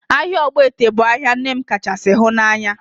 Ahịa Ogbete bụ ahịa nne m kachasị hụ n'anya